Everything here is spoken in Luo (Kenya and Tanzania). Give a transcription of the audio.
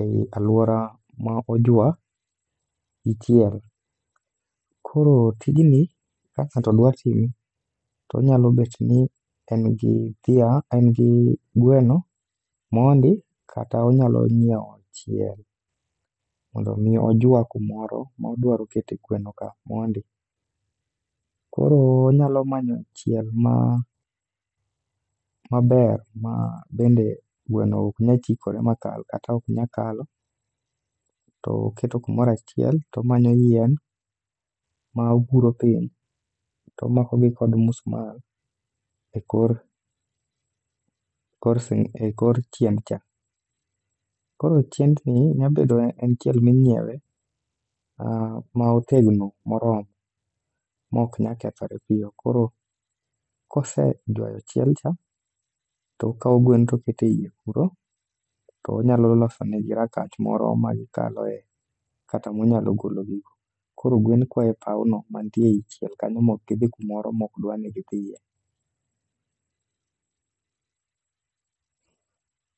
ei alwora ma ojwa gi chiel. Koro tijni ka ng'ato dwa time, to onyalo bet ni en gia, en gi gweno mondi kata onyalo nyiewo chiel mondo mi ojwa kumoro modwaro kete gweno ka mondi. Koro onyalo manyo chiel maber ma bende gweno ok nya chikore ma kal kata ok nya kalo. To oketo kumorachiel tomanyo yien ma oguro piny, tomako gi kod musmal e kor, kor si, e kor chien cha. Koro chiendni nyabedo en chiel ming'iewe, ah ma otegno moro. Mok nya kethore piyo, koro kose jwayo chielcha, to okawo gwen to okete iye kuro. To onyalo losonegi rangach moro ma gikaloe kata monyalo gologigo. Koro gwen kwayo e pawno mantie ei chiel kanyo mok gidhi kumoro mokdwa ni gidhiye.